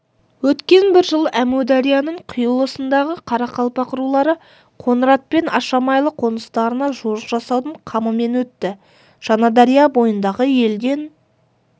өткен бір жыл әмударияның құйылысындағы қарақалпақ рулары қоңырат пен ашамайлы қоныстарына жорық жасаудың қамымен өтті жаңадария бойындағы елден